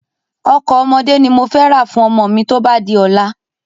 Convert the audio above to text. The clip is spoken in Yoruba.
Ọkọ̀ ọmọdé ni mofẹ ra fún ọmọ mi tóba di ọ̀la.